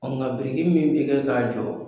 Ɔ nka blriki min bɛ kɛ k'a jɔ.